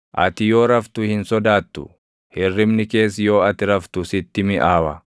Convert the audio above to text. ati yoo raftu hin sodaattu; hirribni kees yoo ati raftu sitti miʼaawa.